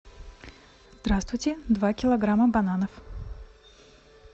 здравствуйте два килограмма бананов